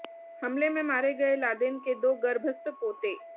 हमले में मारे गए लादेन के दो गर्भस्थ पोते